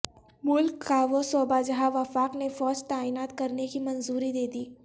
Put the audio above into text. ملک کاوہ صوبہ جہاں وفاق نے فوج تعینات کرنیکی منظوری دیدی